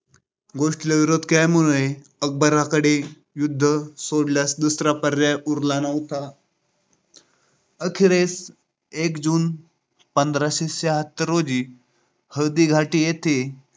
गोष्टीला विरोध केल्यामुळे, अकबराकडे युद्ध सोडल्यास दुसरा पर्याय उरला नव्हता. अखेरीस एक जून पंधराशे शहात्तर रोजी हळदीघाटी येथे